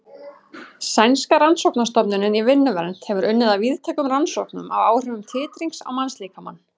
Sænska rannsóknastofnunin í vinnuvernd hefur unnið að víðtækum rannsóknum á áhrifum titrings á mannslíkamann.